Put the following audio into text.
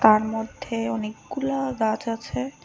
তার মধ্যে অনেকগুলা গাছ আছে।